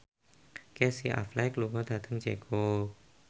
Casey Affleck lunga dhateng Ceko